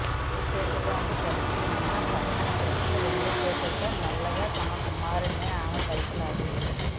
కుడి చేతిలోని సెల్ఫోన్ను పక్కన పెట్టి రెండు చేతులతో మెల్లిగా తన కుమారుడిని ఆమె పైకి లాగింది